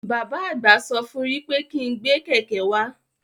Bàbá àgbà sọ fún wí pé kí n gbé kẹ̀kẹ́ wá.